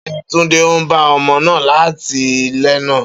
Beeni Tunde n ba omo naa leti lana.